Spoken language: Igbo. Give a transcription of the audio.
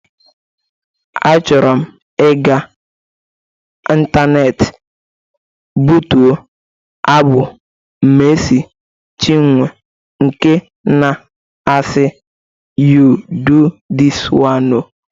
A chọrọm iga intaneeti bụtuo abụ Mercy Chinwo nke na-asi "You do this one o".